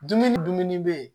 Dumuni dumuni bɛ yen